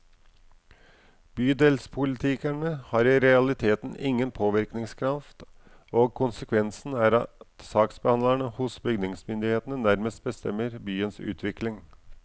Bydelspolitikerne har i realiteten ingen påvirkningskraft, og konsekvensen er at saksbehandlere hos bygningsmyndigheten nærmest bestemmer byens utvikling.